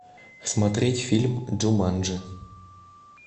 смотреть фильм джуманджи